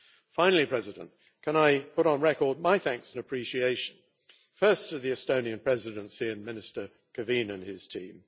Finally, President I would like to put on record my thanks and appreciation, first to the Estonian Presidency and Minister Kevinin and his team.